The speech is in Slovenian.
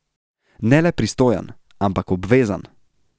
Ne le pristojen, ampak obvezan.